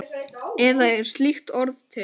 Eða er slíkt orð til?